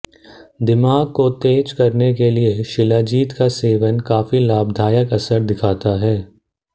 दिमाग को तेज करने के लिए शिलाजीत का सेवन काफी लाभदायक असर दिखाता है